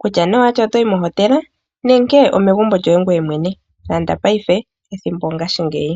Kutya nee owati otoyi mohotela nenge omegumbo lyoye ngoye mwene landa payife, ethimbo ongashingeyi.